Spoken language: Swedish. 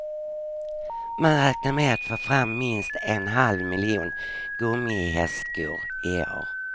Man räknar med att få fram minst en halv miljon gummihästskor i år.